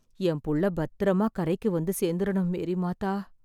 எம்புள்ள பத்திரமா கரைக்கு வந்து சேர்ந்துரணும் மேரி மாதா...